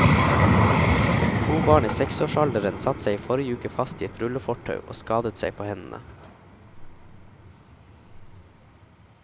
To barn i seksårsalderen satt seg i forrige uke fast i et rullefortau og skadet seg på hendene.